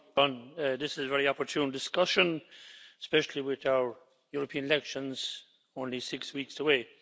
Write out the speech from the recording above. Mr President, this is a very opportune discussion, especially with our European elections only six weeks away.